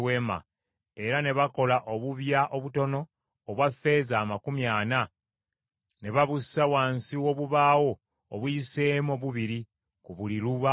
era ne bakola obubya obutono obwa ffeeza amakumi ana, ne babussa wansi w’obubaawo obuyiseemu obubiri ku buli lubaawo.